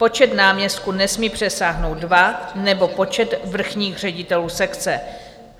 Počet náměstků nesmí přesáhnout dva nebo počet vrchních ředitelů sekce.